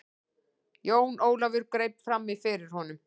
Jón Ólafur greip framí fyrir honum.